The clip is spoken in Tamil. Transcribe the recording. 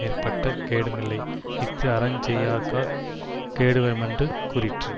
மேற்பட்ட கேடுமில்லை இஃது அறஞ் செய்யாக்காற் கேடுவருமென்று கூறிற்று